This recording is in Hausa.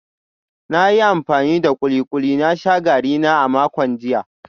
Na yi amfani da kulikuli na sha garina a makon jiya